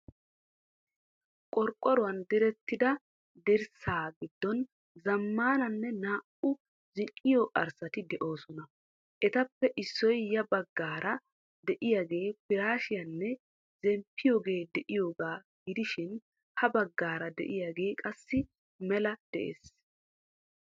Qorqoruwan direttida dirssaa giddon zammaana naa"u zin"iyo arssati de'oosona. Etappe issoy ya baggaara de'iyaagee piraasheenne zemppiyooge de"iyoogaa gidishin ha baggaara diyaagee qassi mela de'ees.